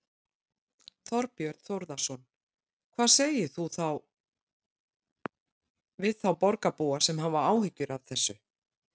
Þorbjörn Þórðarson: Hvað segir þú við þá borgarbúa sem hafa áhyggjur af þessu?